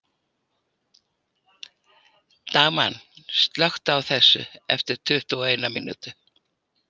Dagmann, slökktu á þessu eftir tuttugu og eina mínútur.